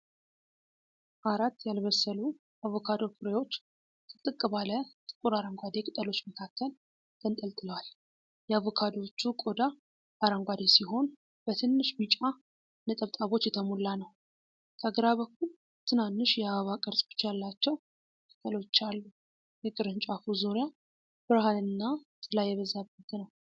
አራት ያልበሰሉ አቮካዶ ፍሬዎች ጥቅጥቅ ባለ ጥቁር አረንጓዴ ቅጠሎች መካከል ተንጠልጥለዋል። የአቮካዶዎቹ ቆዳ አረንጓዴ ሲሆን በትንሽ ቢጫ ነጠብጣቦች የተሞላ ነው። ከግራ በኩል ትናንሽ የአበባ ቅርጾች ያላቸው ቅጠሎች አሉ። የቅርንጫፉ ዙሪያ ብርሃንና ጥላ የበዛበት ነው።